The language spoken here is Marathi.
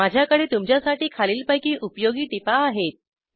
माझ्याकडे तुमच्यासाठी खालीलपैकी उपयोगी टीपा आहेत